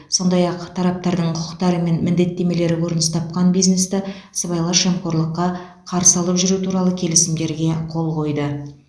сондай ақ тараптардың құқықтары мен міндеттемелері көрініс тапқан бизнесті сыбайлас жемқорлыққа қарсы алып жүру туралы келісімдерге қол қойды